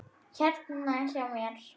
Hérna hjá mér.